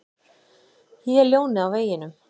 Ég er ljónið á veginum.